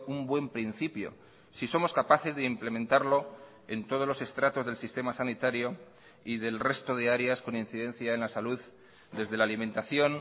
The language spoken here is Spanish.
un buen principio si somos capaces de implementarlo en todos los estratos del sistema sanitario y del resto de áreas con incidencia en la salud desde la alimentación